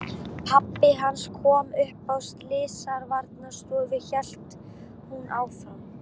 Pabbi hans kom upp á Slysavarðstofu, hélt hún áfram.